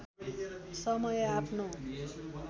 समय आफ्नो